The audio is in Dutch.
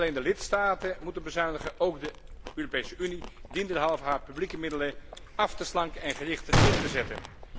Niet alleen de lidstaten moeten bezuinigen, ook de Europese Unie dient derhalve haar publieke middelen af te slanken en gerichter in te zetten.